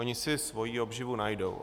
Oni si svoji obživu najdou.